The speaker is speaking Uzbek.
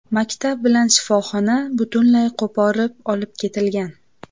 Maktab bilan shifoxona butunlay qo‘porib olib ketilgan.